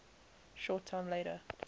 short time later